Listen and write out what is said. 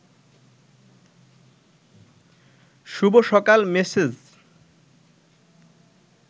শুভ সকাল মেসেজ